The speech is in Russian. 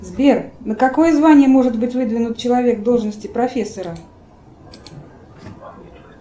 сбер на какое звание может быть выдвинут человек в должности профессора